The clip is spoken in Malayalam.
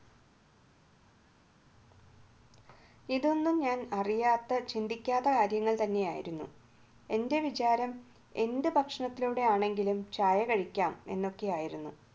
ഇതൊന്നും ഞാൻ അറിയാത്ത ചിന്തിക്കാത്ത കാര്യങ്ങൾ തന്നെയായിരുന്നു എൻറെ വിചാരം എന്ത് ഭക്ഷണത്തിലൂടെയാണെങ്കിലും ചായ കഴിക്കാം എന്നൊക്കെയായിരുന്നു